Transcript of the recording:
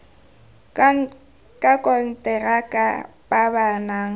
ka konteraka ba ba nang